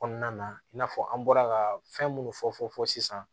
Kɔnɔna na i n'a fɔ an bɔra ka fɛn minnu fɔ fɔ fɔfɔ sisan